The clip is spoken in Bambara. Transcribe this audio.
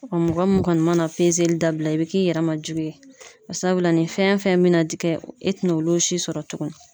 Ɔ mɔgɔ min kɔni mana dabila, i bi k'i yɛrɛ ma jugu ye sabula , ni fɛn fɛn bɛna di e , tina olu si sɔrɔ tuguni.